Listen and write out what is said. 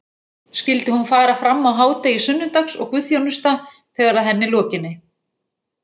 Skyldi hún fara fram á hádegi sunnudags og guðþjónusta þegar að henni lokinni.